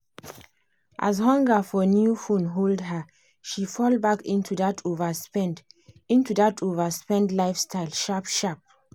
as the hunger for new phone hold her she fall back into that overspend into that overspend lifestyle sharp-sharp.